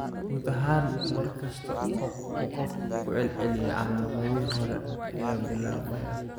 Guud ahaan, mar kasta oo uu qofku ku celceliyo, calaamadihii hore ayaa bilaabmaya.